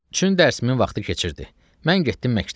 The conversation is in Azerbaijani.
Çün dərsimin vaxtı keçirdi, mən getdim məktəbə.